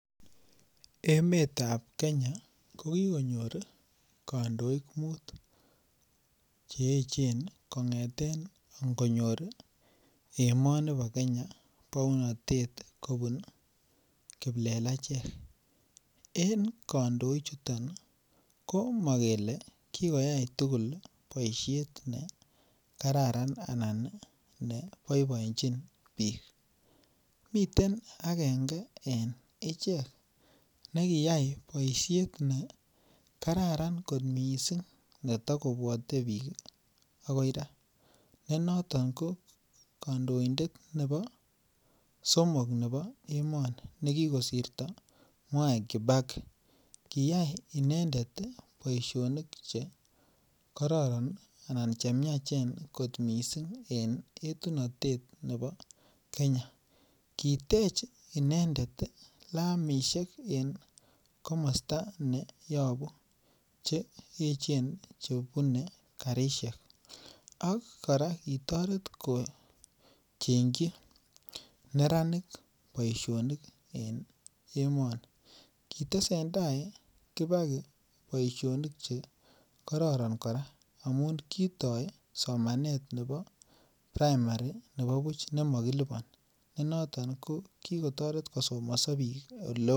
Emetab Kenya kokikonyir kondoik mut kongeten ingonyor emoni bo Kenya kobun kiplekacheck , en kondoichuto komokele kikoyai aketugul boishek nekararan anan neboiboenjin bik, miten agenge en ichek nekiyai boishet nekararan kot missing' neto kobwote bik akoi raa nenoton kokondondet nebo somok nebo emoni nekikosirto Mwai Kibaki kiyai inendet boisinik chekororon anan chemiachen kot missing en etunotet nebo Kenya, kitech inendet lamishek cheechen en komosto nebunu chebune karishek ok koraa kitoret kochengji neranik boishonik en emoni kitesendaa kibaki boisionik chekororon koraa amun kitoi somanet nebo primary nebo buch nemokiliboni nenoton kilotoret kosomoso bik eleo.